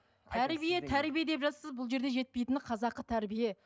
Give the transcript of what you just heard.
тәрбие тәрбие деп жатырсыз бұл жерде жетпейтіні қазақы тәрбие